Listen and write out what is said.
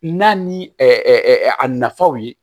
N'a ni a nafaw ye